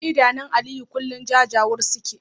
Idanun Aliyu kullum jajawur suke